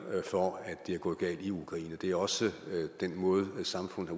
for at det er gået galt i ukraine det er også den måde samfundet